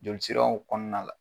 Jolisiraw kɔnɔna la